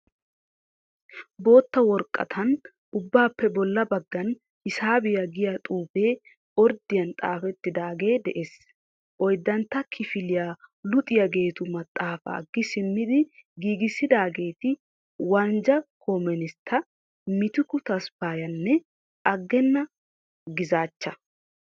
bootta woraaqatan ubbaappe boolla bagaan hisabiya giya xuufe orddiyan xaafeetidage de^ees. Oyiddantta kiifiliya luuxiyaageetu maaxafa gii simmidi giigisidaageti wanjja koominsta, miitiku taasfayanne agena giizzacha.